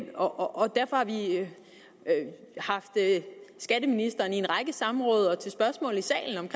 og derfor har vi haft skatteministeren i en række samråd og til spørgsmål i salen